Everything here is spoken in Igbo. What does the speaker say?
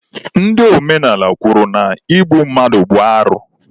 Ndị omenala kwuru na igbu mmadụ bụ arụ